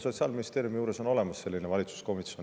Sotsiaalministeeriumi juures on olemas selline valitsuskomisjon.